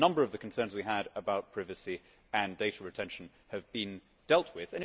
A number of the concerns we had about privacy and data retention have been dealt with.